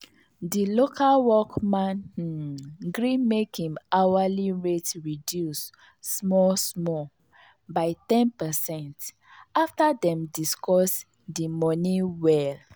the local work man um gree make him hourly rate reduce small small by ten percent after dem discuss the money well.